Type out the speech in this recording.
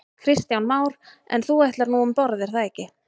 Kristján Már: En þú ætlar nú um borð er það ekki?